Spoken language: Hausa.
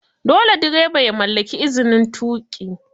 Dole direba ya mallaki izin tuƙi